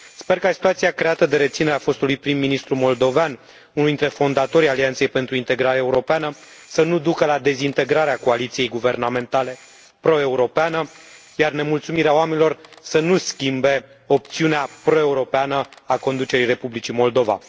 Sper ca situația creată de reținerea fostului prim ministru moldovean, unul dintre fondatorii Alianței pentru Integrare Europeană, să nu ducă la dezintegrarea coaliției guvernamentale proeuropene, iar nemulțumirea oamenilor să nu schimbe opțiunea proeuropeană a conducerii Republicii Moldova.